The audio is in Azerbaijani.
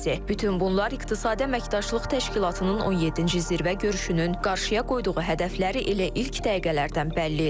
Bütün bunlar İqtisadi Əməkdaşlıq Təşkilatının 17-ci zirvə görüşünün qarşıya qoyduğu hədəfləri elə ilk dəqiqələrdən bəlli edir.